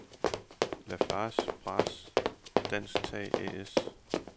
Lafarge Braas Dansk Tag A/S